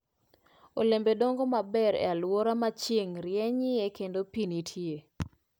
Olembe dongo maber e alwora ma chieng' rienyie kendo pi nitie.